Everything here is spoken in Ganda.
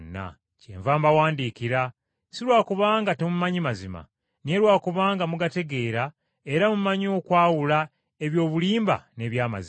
Kyenva mbawandiikira, si lwa kubanga temumanyi mazima, naye lwa kubanga mugategeera era mumanyi okwawula eby’obulimba n’eby’amazima.